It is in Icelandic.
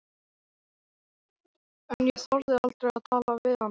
En ég þorði aldrei að tala við hana.